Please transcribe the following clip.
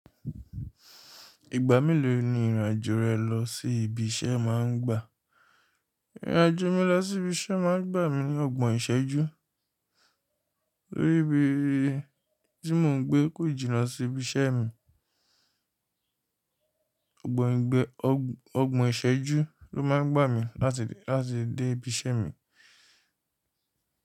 Ìgbà mélòó ni ìrìn àjò rẹ lọ sí ibi iṣẹ́ máa ń gbà? Ìrìn àjò mi lọ sí ibi iṣẹ́ máa ń gbà mi ni ọgbọ̀n ìṣẹ́jú. Tóríbii tí mò ń gbé kò jìnnà sí ibi iṣẹ́ mi. Gbọ̀n e gbẹ́, ọgbọ̀n ìṣẹ́jú ló máa ń gbà mi láti, láti dé ibi iṣẹ́ mi.